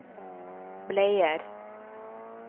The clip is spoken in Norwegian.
bleier